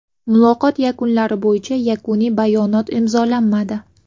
Muloqot yakunlari bo‘yicha yakuniy bayonot imzolanmadi.